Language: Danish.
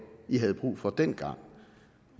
i havde brug for dengang